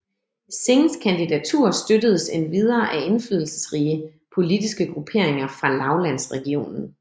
Singhs kandidatur støttedes endvidere af indflydelsesrige politiske grupperinger fra lavlandsregionen